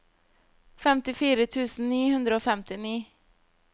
femtifire tusen ni hundre og femtini